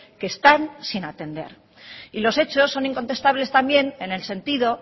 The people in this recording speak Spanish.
que están sin atender y los hechos son incontestables también en el sentido